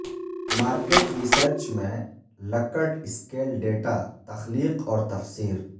market research میں Likert scale data تخلیق اور تفسیر